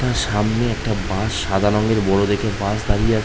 তার সামনে একটা বাস সাদা রঙের বড়ো দেখে বাস দাঁড়িয়ে আছে ।